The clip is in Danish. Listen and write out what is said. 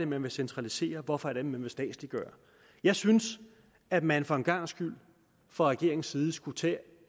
man vil centralisere hvorfor man vil statsliggøre jeg synes at man for en gangs skyld fra regeringens side skulle tage